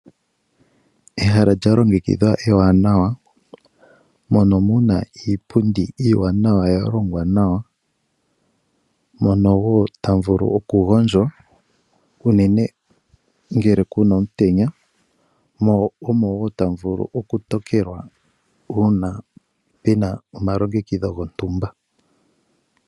Ehala lya longekidhwa ewanawa, mono muna iipundi iiwanawa ya longwa nawa. Mono wo tamu vulu okugondjwa unene ngele kuna omutenya , mo omo wo tamu vulu okutokelwa uuna puna omalongekidho gontumba.